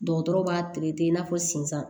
Dɔgɔtɔrɔw b'a i n'a fɔ sen san